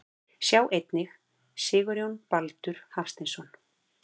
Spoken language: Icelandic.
Sjá einnig Sigurjón Baldur Hafsteinsson.